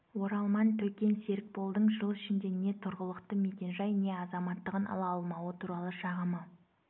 оралман төкен серікболдың жыл ішінде не тұрғылықты мекенжай не азаматтығын ала алмауы туралы шағымы